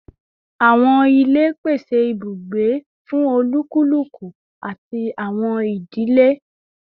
Awọn ile pese ibugbe ati ibugbe fun olukuluku ati awọn idile